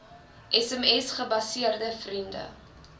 sms gebaseerde vriende